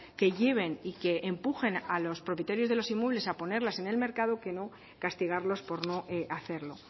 que lleven y que empujen a los propietarios de los inmuebles a ponerlas en el mercado que no castigarlos por no hacerlo